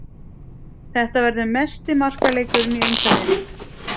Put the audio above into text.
Þetta verður mesti markaleikurinn í umferðinni.